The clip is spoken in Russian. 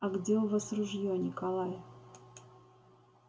а где у вас ружье николай